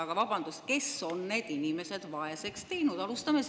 Aga vabandust, kes on need inimesed vaeseks teinud?